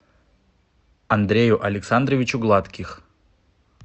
андрею александровичу гладких